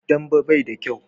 Dambe bai da kyau